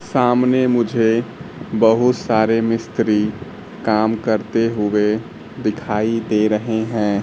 सामने मुझे बहुत सारे मिस्त्री काम करते हुए दिखाई दे रहे है।